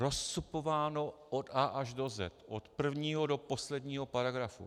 Rozcupováno od A až do Z, od prvního do posledního paragrafu.